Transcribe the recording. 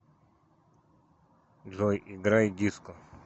джой играй диско